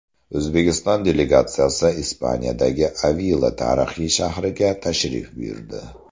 O‘zbekiston delegatsiyasi Ispaniyadagi Avila tarixiy shahriga tashrif buyurdi.